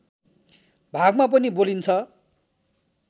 भागमा पनि बोलिन्छ